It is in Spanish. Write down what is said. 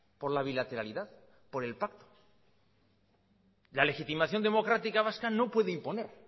por la bilateralidad por el pacto la legitimación democrática vasca no puede imponer